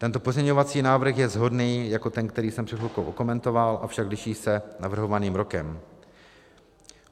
Tento pozměňovací návrh je shodný jako ten, který jsem před chvilkou okomentoval, avšak liší se navrhovaným rokem.